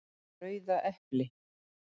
Rauða epli!